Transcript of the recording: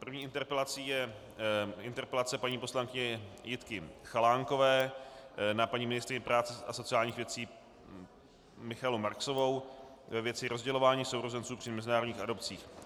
První interpelací je interpelace paní poslankyně Jitky Chalánkové na paní ministryni práce a sociálních věcí Michaelu Marksovou ve věci rozdělování sourozenců při mezinárodních adopcích.